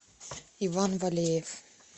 иван валеев